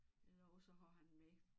Eller også så har han den med